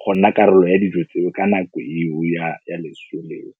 go nna karolo ya dijo tseo ka nako eo ya leso leo